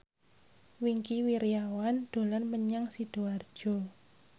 Wingky Wiryawan dolan menyang Sidoarjo